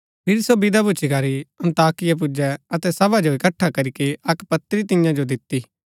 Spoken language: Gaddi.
फिरी सो विदा भूच्ची करी अन्ताकिया पुजै अतै सभा जो इकट्ठा करीके अक्क पत्री तियां जो दिती